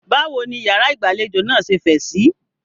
Báwo ní ìyàrá ìgbàlejò náà ṣe fẹ̀ síí?